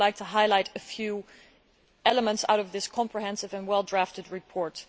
I would like to highlight a few elements from this comprehensive and well drafted report.